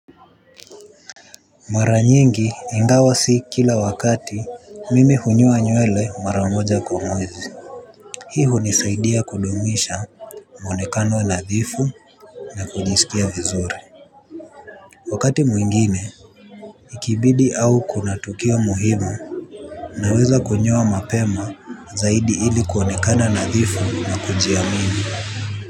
Mara nyingi ingawa si kila wakati mimi hunyoa nywele mara moja kwa mwezi. Hii hunisaidia kudumisha muonekano nadhifu na kujisikia vizuri. Wakati mwingine ikibidi au kuna tukio muhimu naweza kunyoa mapema zaidi ili kuonekana nadhifu na kunjia mini.